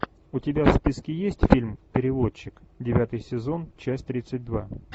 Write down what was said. у тебя в списке есть фильм переводчик девятый сезон часть тридцать два